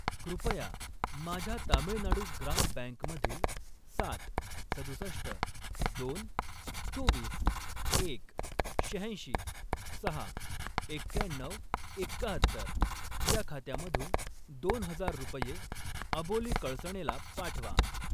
कृपया माझ्या तामिळनाडू ग्राम बँक मधील सात, सदुसष्ट, दोन, चोवीस, एक, शहाऐंशी, सहा, एक्क्याण्णऊ, एक्काहत्तर या खात्यामधून दोन हजार रुपये अबोली कळसणेला पाठवा.